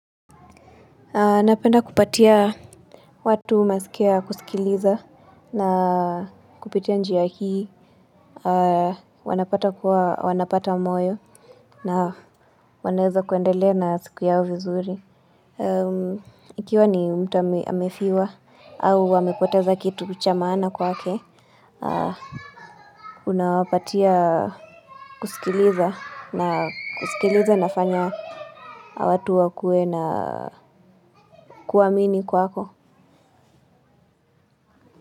Napenda kupatia watu masikio ya kusikiliza na kupitia njia hii wanapata kuwa wanapata moyo na wanaweza kuendelea na siku yao vizuri. Ikiwa ni mtu amefiwa au wamepoteza kitu cha maana kwake, unawapatia kusikiliza na kusikiliza inafanya watu wakue na kuamini kwako.